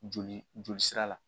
Joli joli sira la